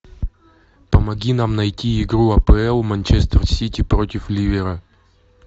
помоги нам найти игру апл манчестер сити против ливера